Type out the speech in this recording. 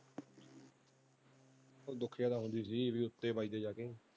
ਉਹ ਉੱਤੇ ਵਜਦਾ ਜਾਕੇ।